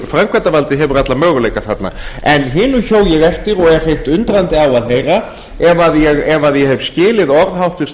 framkvæmdarvaldið hefur alla möguleika þarna en hinu hjó ég eftir og er hreint undrandi á að heyra ef ég hef skilið orð háttvirts